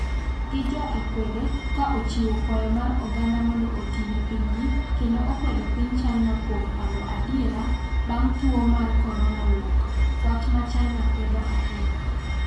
gi joakwede ka ochiwo kwayo mar oganda mondo oti ne pinygi kendom okwedo piny China kuom pando adiera bang' tuwo mar Corona wuok, wach ma China kwedo ahinya